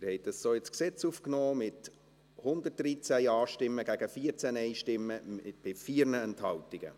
Sie haben das so ins Gesetz aufgenommen, mit 113 Ja- gegen 14 Nein-Stimmen bei 4 Enthaltungen.